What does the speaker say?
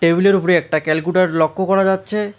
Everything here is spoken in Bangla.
টেবিলের উপরে একটা ক্যালকুটর লক্ষ্য করা যাচ্ছে।